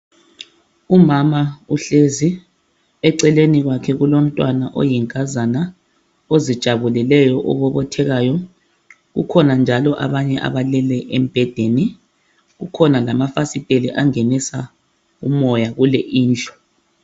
Umama uhlezi eceleni kwakhe kulo mntwana oyinkazana ozijabuleleyo obobothekayo. Kukhona njalo abanye abalele embhedeni, kukhona lama fasiteli angenisa umoya kule indlu.